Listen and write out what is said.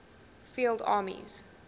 field armies